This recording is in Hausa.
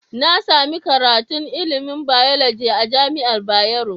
Nasami karatun ilimin biology a jamiar bayero